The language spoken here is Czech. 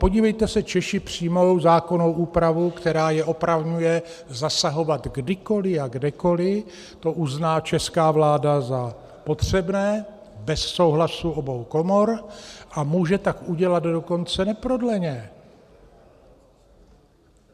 Podívejte se, Češi přijmou zákonnou úpravu, která je opravňuje zasahovat, kdykoliv a kdekoliv to uzná česká vláda za potřebné, bez souhlasu obou komor, a může tak udělat dokonce neprodleně.